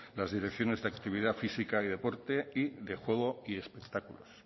las direcciones de actividad física y deporte y de juego y espectáculos